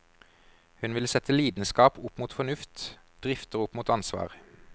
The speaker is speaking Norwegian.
Hun vil sette lidenskap opp mot fornuft, drifter opp mot ansvar.